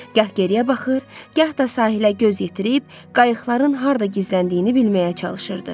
Gah geriyə baxır, gah da sahilə göz yetirib qayıqların harda gizləndiyini bilməyə çalışırdı.